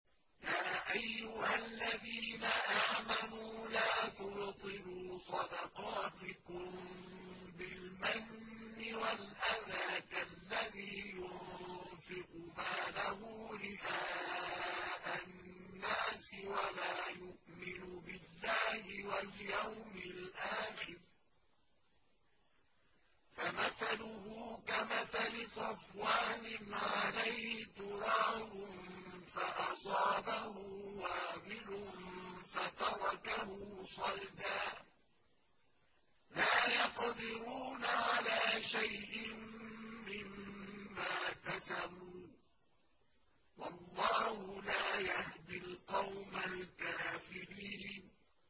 يَا أَيُّهَا الَّذِينَ آمَنُوا لَا تُبْطِلُوا صَدَقَاتِكُم بِالْمَنِّ وَالْأَذَىٰ كَالَّذِي يُنفِقُ مَالَهُ رِئَاءَ النَّاسِ وَلَا يُؤْمِنُ بِاللَّهِ وَالْيَوْمِ الْآخِرِ ۖ فَمَثَلُهُ كَمَثَلِ صَفْوَانٍ عَلَيْهِ تُرَابٌ فَأَصَابَهُ وَابِلٌ فَتَرَكَهُ صَلْدًا ۖ لَّا يَقْدِرُونَ عَلَىٰ شَيْءٍ مِّمَّا كَسَبُوا ۗ وَاللَّهُ لَا يَهْدِي الْقَوْمَ الْكَافِرِينَ